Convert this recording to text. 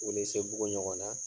Welesebugu ɲɔgɔn na